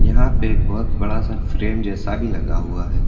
यहाँ पे एक बहुत बड़ा सा फ्रेम जैसा भी लगा हुआ है।